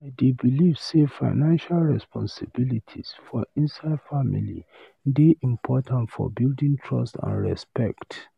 I dey believe say financial responsibilities for inside family dey important for building trust and respect.